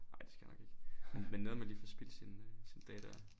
Ej det skal jeg nok ikke men men nederen man lige får spildt sin øh sin dag dér